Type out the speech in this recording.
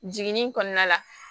Jiginni kɔnɔna la